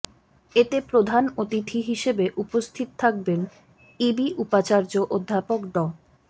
এতে প্রধান অতিথি হিসেবে উপস্থিত থাকবেন ইবি উপাচার্য অধ্যাপক ড